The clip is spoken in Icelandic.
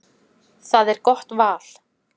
Það er gott val.